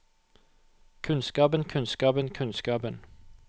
kunnskapen kunnskapen kunnskapen